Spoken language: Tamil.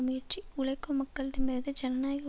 முயற்சி உழைக்கும் மக்களிடமிருந்து ஜனநாயக